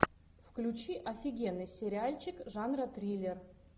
включи офигенный сериальчик жанра триллер